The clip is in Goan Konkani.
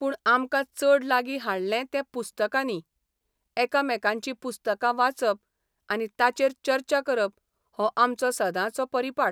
पूण आमकां चड लागीं हाडलें तें पुस्तकांनी एकामेकांची पुस्तकां वाचप आनी ताचेर चर्चा करप हो आमचो सदांचो परिपाठ.